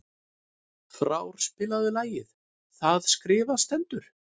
Frár, spilaðu lagið „Það skrifað stendur“.